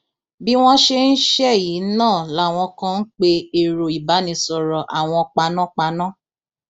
bí wọn ṣe ń ṣẹyí náà làwọn kan ń pe èrò ìbánisọrọ àwọn panápaná